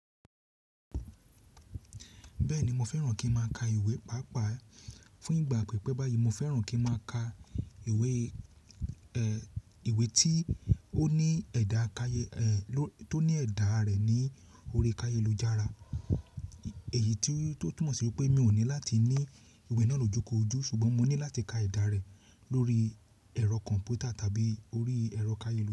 Bẹ́ẹ̀ni mo fẹ́ràn kí má ka ìwé pàápàá fún ìgbà pípẹ́ báyìí. Mo fẹ́ràn kí má ka ìwé, ẹ, ìwé tí ó ní ẹ̀dà kayẹ, ẹ, tó ní ẹ̀dà rẹ̀ ní orí kayẹ lo jára. Èyí tí ó túnmọ̀ sí pé mi ò ní láti ní ìwé náà lójúko ojú ṣùgbọ́n mo ní láti ka ẹ̀dà rẹ̀ lórí ẹ̀rọ kọ̀ǹpútà tàbí orí ẹ̀rọ kayẹ.